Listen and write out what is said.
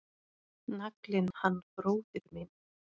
Naglinn hann bróðir minn.